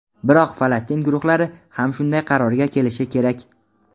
biroq Falastin guruhlari ham shunday qarorga kelishi kerak.